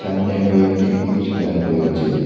সামনে কয়েকটি ইট ফেলানো রয়েছে।